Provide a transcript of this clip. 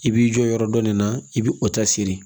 I b'i jɔ yɔrɔ dɔ nin na i bi o ta siri